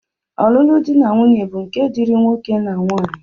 Ọlụlụ dị na nwaanyị bụ nke dịịrị nwoke na nwaanyị